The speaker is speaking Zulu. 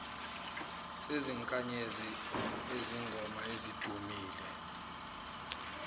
sezinkanyezi izingoma ezidumile